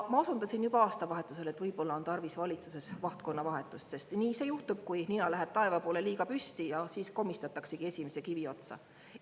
Ma osundasin juba aastavahetusel, et võib-olla on tarvis valitsuses vahtkonnavahetust, sest nii see juhtub, kui nina läheb taeva poole liiga püsti, siis komistataksegi esimese kivi otsa.